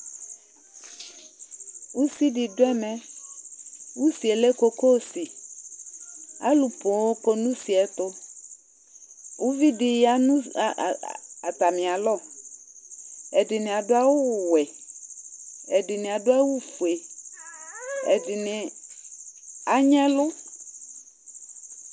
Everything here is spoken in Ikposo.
Usi dɩ dʋ ɛmɛ Usi yɛ lɛ kokosi Alʋ poo kɔ nʋ usi yɛ tʋ Uvi dɩ ya nʋ ɛ ɛ ɛ atamɩalɔ Ɛdɩnɩ adʋ awʋwɛ Ɛdɩnɩ adʋ awʋfue, ɛdɩnɩ anyɩ ɛlʋ